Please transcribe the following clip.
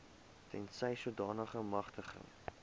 tensy sodanige magtiging